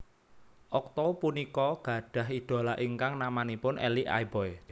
Okto punika gadhah idola ingkang namanipun Elie Aiboy